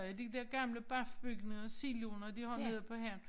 Øh de dér gamle BAF-bygninger og siloer de har nede på havnen